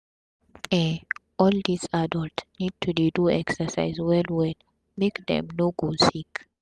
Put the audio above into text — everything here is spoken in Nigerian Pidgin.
um all dis adult need to dey do exercise well well make dem no go sick